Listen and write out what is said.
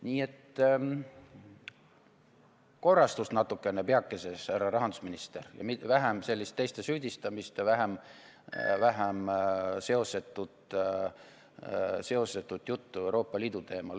Nii et korrastust natukene peakeses, härra rahandusminister, ja vähem teiste süüdistamist ja vähem seosetut juttu Euroopa Liidu teemal!